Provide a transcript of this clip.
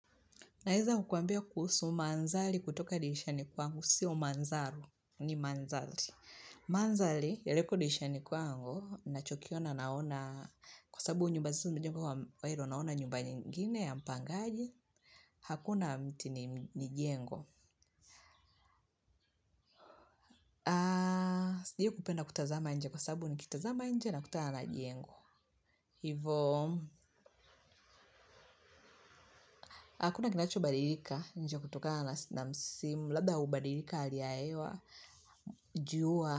Naeza kukwambia kuhusu manzali kutoka dilishani kwangu, siyo manzalo, ni manzali. Manzali, yaliko diisha ni kwangu, na chokiona naona, kwa sabu njubazi njubazi njubwa wa hiru, naona nyumba nyingine ya mpangaji, hakuna mti ni jengo. Sijai kupenda kutazama nje kwa sabu ni kitazama nje na kutala na jengo. Hivo, hakuna kinacho badirika nje kutoka na msimu, labda ubadirika aliaewa, juwa.